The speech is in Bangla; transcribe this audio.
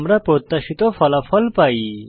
আমরা প্রত্যাশিত ফলাফল পাই